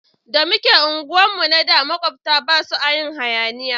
Da muke unguwar mu na da makwabta basu a yin hayaniya